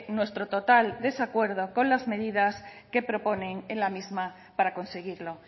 nuestro total desacuerdo con las medidas que proponen en la misma para conseguirlo